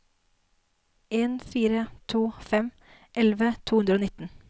en fire to fem elleve to hundre og nitten